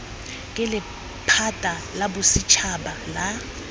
ke lephata la bosetšhaba la